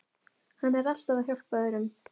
Hann er alltaf að hjálpa öðrum.